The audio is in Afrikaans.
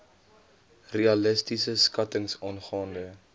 realistiese skattings aangaande